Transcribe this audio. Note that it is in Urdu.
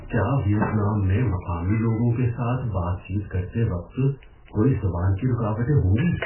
کیا ویتنام میں مقامی لوگوں کے ساتھ بات چیت کرتے وقت کوئی زبان کی رکاوٹیں ہوں گی؟